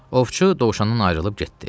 Ovçu dovşandan ayrılıb getdi.